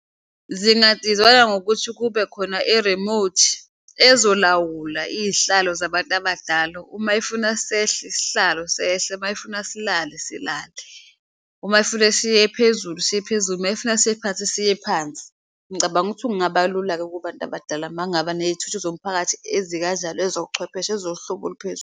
Zingadizayinwa ngokuthi kube khona erimothi ezilawula iyihlalo zabantu abadala uma efuna sehle isihlalo sehle, mayefuna silale silale, uma efuna siye phezulu siye phezulu, mayefuna siye phansi siye phansi. Ngicabanga ukuthi kungaba lula-ke kubantu abadala mangaba neyithuthu zomphakathi ezikanjalo, ezokuchwepheshe ezohlobo oluphezulu.